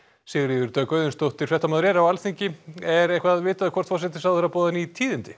Sigríður Dögg Auðunsdóttir er á Alþingi er eitthvað vitað hvort forsætisráðherra boðar ný tíðindi